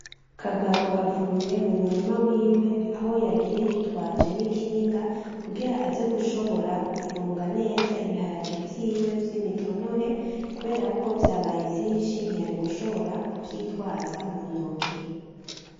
Kagabo avuye mumurima wiwe aho yagiye yitwaje n'ikinga kugira aze gushobora gufunga neza ibiharage vyiwe vyimitonore kuberako vyabaye vyinshi ntiyari gushobora kuvyitwaza muntoki .